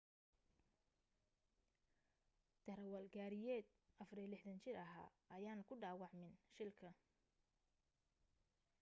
darawal gaariyeed 64 jira ahaa ayaan ku dhawaacmin shilka